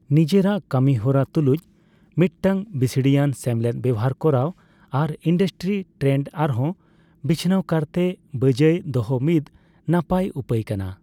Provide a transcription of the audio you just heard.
ᱱᱤᱡᱮᱨᱟᱜ ᱠᱟᱹᱢᱤ ᱦᱚᱨᱟ ᱛᱩᱞᱩᱡ ᱢᱤᱫ ᱴᱟᱝ ᱵᱤᱥᱲᱤᱭᱟᱱ ᱥᱮᱢᱞᱮᱫ ᱵᱮᱣᱦᱟᱨ ᱠᱚᱨᱟᱣ ᱟᱨ ᱤᱱᱰᱟᱥᱴᱨᱤ ᱴᱨᱮᱱᱰ ᱟᱨᱦᱚᱸ ᱵᱤᱪᱷᱱᱟᱹᱣ ᱠᱟᱨᱛᱮ ᱵᱟᱹᱡᱟᱹᱭ ᱫᱚᱦᱚ ᱢᱤᱫ ᱱᱟᱯᱟᱭ ᱩᱯᱟᱹᱭ ᱠᱟᱱᱟ ᱾